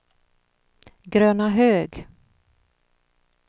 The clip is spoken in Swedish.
Grönahög